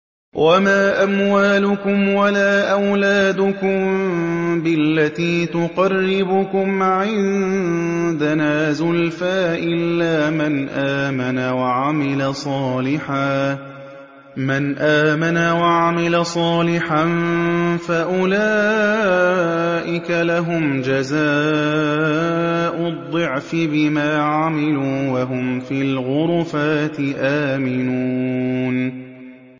وَمَا أَمْوَالُكُمْ وَلَا أَوْلَادُكُم بِالَّتِي تُقَرِّبُكُمْ عِندَنَا زُلْفَىٰ إِلَّا مَنْ آمَنَ وَعَمِلَ صَالِحًا فَأُولَٰئِكَ لَهُمْ جَزَاءُ الضِّعْفِ بِمَا عَمِلُوا وَهُمْ فِي الْغُرُفَاتِ آمِنُونَ